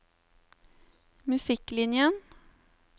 musikklinjen